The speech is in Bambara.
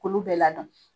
K'olu bɛɛ ladɔn